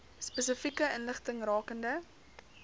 spesifieke inligting rakende